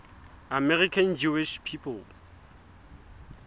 american jewish people